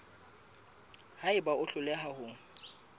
ha eba o hloleha ho